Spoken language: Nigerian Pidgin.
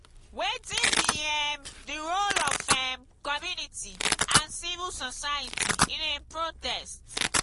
wetin be um di role of um community and civil society in a protest?